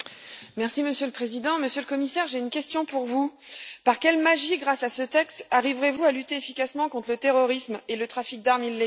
Monsieur le Président, Monsieur le Commissaire, j'ai une question pour vous par quelle magie, grâce à ce texte, arriverez vous à lutter efficacement contre le terrorisme et le trafic d'armes illégales?